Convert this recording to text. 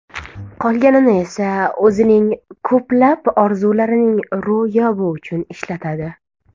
Qolganini esa o‘zining ko‘plab orzularining ro‘yobi uchun ishlatadi.